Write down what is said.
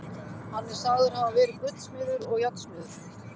Hann er sagður hafa verið gullsmiður og járnsmiður.